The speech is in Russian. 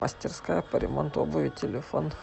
мастерская по ремонту обуви телефон